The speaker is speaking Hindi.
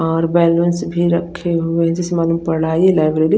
ओए बेन्गल्स भी रखे हुए है जिसमे --